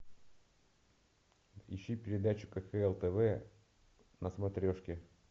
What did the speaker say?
ищи передачу кхл тв на смотрешке